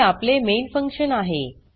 हे आपले main function आहे